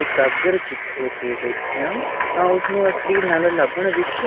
ਇਕਾਗਰਚਿਤ ਹੋ ਕੇ ਦੇਖਿਆ ਉਸਨੂੰ ਅਸਲੀ ਨੱਲ ਲੱਭਣ ਵਿਚ